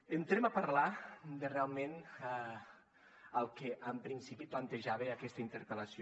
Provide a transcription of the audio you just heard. entrem a parlar de realment el que en principi plantejava aquesta interpel·lació